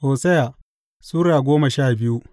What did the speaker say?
Hosiya Sura goma sha biyu